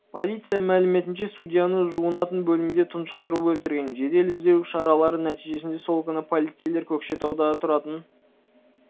полиция мәліметінше судьяны жуынатын бөлмеде тұншықтырып өлтірген жедел іздеу шаралары нәтижесінде сол күні полицейлер көкшетауда тұратын